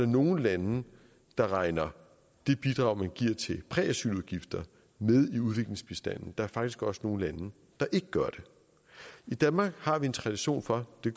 nogle lande der regner det bidrag man giver til præasyludgifter med i udviklingsbistanden der er faktisk også nogle lande der ikke gør det i danmark har vi en tradition for det